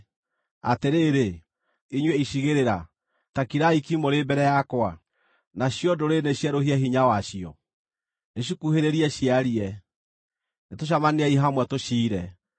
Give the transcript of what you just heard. “Atĩrĩrĩ, inyuĩ icigĩrĩra, ta kirai ki mũrĩ mbere yakwa! Nacio ndũrĩrĩ nĩcierũhie hinya wacio! Nĩcikuhĩrĩrie ciarie; nĩtũcemaniei hamwe tũciire.